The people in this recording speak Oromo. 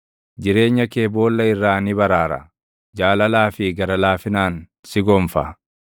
jireenya kee boolla irraa ni baraara; jaalalaa fi gara laafinaan si gonfa;